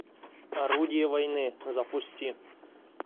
орудие войны запусти